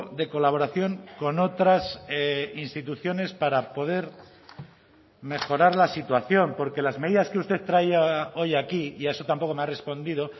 de colaboración con otras instituciones para poder mejorar la situación porque las medidas que usted traía hoy aquí y a eso tampoco me ha respondido